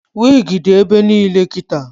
Wigi dị ebe niile kịta